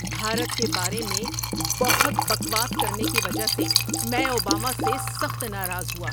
بھارت کے بارے میں بہت بکواس کرنے کی وجہ سے میں اوباما سے سخت ناراض ہوا۔